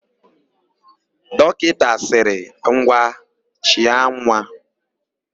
Dọkịta sịrị, "ngwa chịa nwa"!